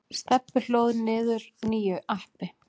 Stebbi hlóð niður nýju appi.